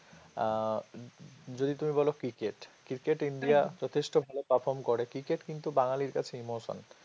আহ যদি তুমি বলো ক্রিকেট ক্রিকেট ইন্ডিয়া যথেষ্ট ভাল perform করে ক্রিকেট কিন্তু বাঙালির কাছে emotion